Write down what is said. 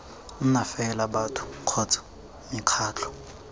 nna fela batho kgotsa mekgatlho